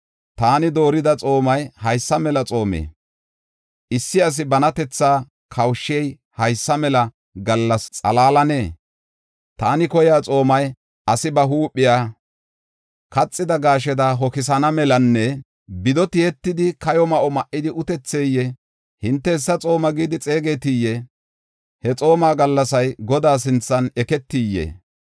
Taani doorida xoomay haysa mela xoomee? Issi asi banatetha kawushey haysa mela gallasa xalaalanee? Taani koyiya xoomay asi ba huuphiya kaxida gasheda hoksana melanne bido tiyetidi kayo ma7o ma7idi utetheyee? Hinte hessa xooma gidi xeegetiyee? He xooma gallasay Godaa sinthan eketiyee?